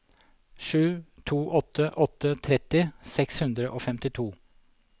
sju to åtte åtte tretti seks hundre og femtito